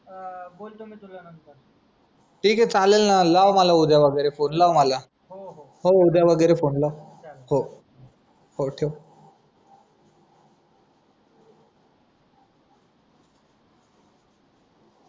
आ बोलतो मी तुला नंतर ठीके चालेल ना लाव मला उद्या वगैरे फोने लाव मला हो हो हो उद्या वगैरे फोने लाव चालेल हो हो ठेव